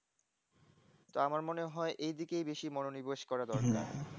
তো আমার মনে হয় এই এইদিকে বেশি মনোনিবেশ করা দরকার